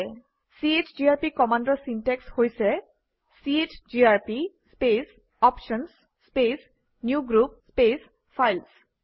CGRP কমাণ্ডৰ syntax হৈছে - চিজিআৰপি space options space new group space files